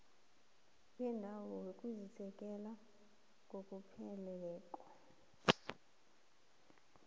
bendawo buwasekela ngokupheleleko